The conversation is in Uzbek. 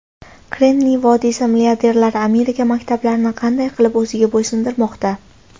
Kremniy vodiysi milliarderlari Amerika maktablarini qanday qilib o‘ziga bo‘ysundirmoqda?.